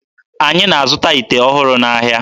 Anyị na-azụta ite ọhụrụ n'ahịa.